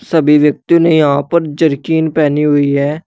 सभी व्यक्तियों ने यहां पर जरकिन पहनी हुई है।